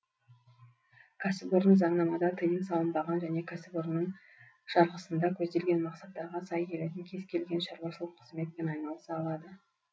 кәсіпорын заңнамада тыйым салынбаған және кәсіпорынның жарғысында көзделген мақсаттарға сай келетін кез келген шаруашылық қызметпен айналыса алады